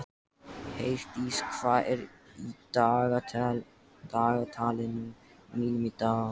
Heiðdís, hvað er í dagatalinu mínu í dag?